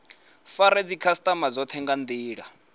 fare dzikhasitama dzothe nga ndila